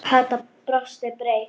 Kata brosti breitt.